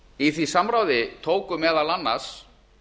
í því samráði tóku meðal annars